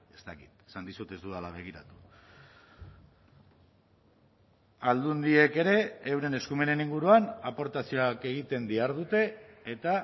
ez dakit esan dizut ez dudala begiratu aldundiek ere euren eskumenen inguruan aportazioak egiten dihardute eta